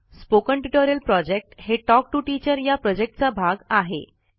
spoken tutorial project हे talk to teacher या प्रॉजेक्टचा भाग आहे